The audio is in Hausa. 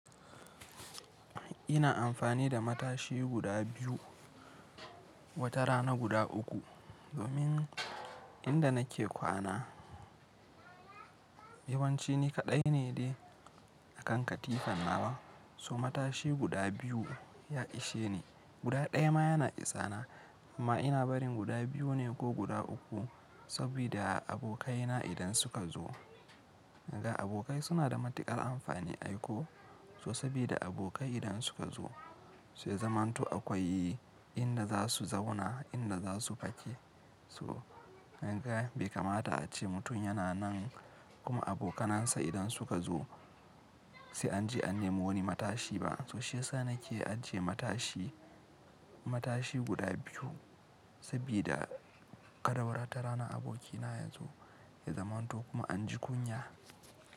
Ina amfani da matashi guda biyu, wata rana guda uku, domin inda nake kwana yawanci ni kaɗai ne dai akan katifan nawa. So matashi guda biyu ya ishe ni, guda ɗaya ma yana isa na. Amma ina barin guda biyu ne ko guda uku sabida abokaina idan suka zo. Danabokai suna da matuƙar amfani ai ko. So sabida abokai idan suka zo, saiya zamanto akwai inda za su zauna, inda za su fake. To kanga bai kamata a ce mutum yana nan kuma abokanansa idan suka zo sai an je an nemo wani matashi ba. So shi yasa nake ajiye matashi, matashi guda biyu sabida kadawara ta rana abokina yazo ya zamanto kuma an ji kunya.